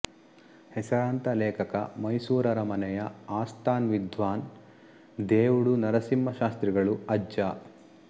ಹೆಸರಾಂತ ಲೇಖಕ ಮೈಸೂರರಮನೆಯ ಆಸ್ಥಾನ್ ವಿದ್ವಾನ್ ದೇವುಡು ನರಸಿಂಹಶಾಸ್ತ್ರಿಗಳು ಅಜ್ಜ